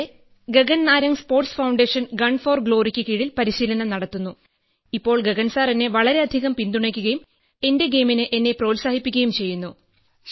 ഇവിടെ Gagan Narang sports foundation gun for ഗ്ലോറിയ്ക്ക് കീഴിൽ പരിശീലനം നടത്തുന്നു ഇപ്പോൾ ഗഗൻസാർ എന്നെ വളരെയധികം പിന്തുണയ്ക്കുകയും എന്റെ ഗെയിമിൽ എന്നെ പ്രോത്സാഹിപ്പിക്കുകയും ചെയ്യുന്നു